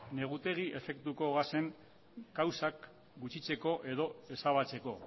negutegi efektuko gasen kausak gutxitzeko edo ezabatzeko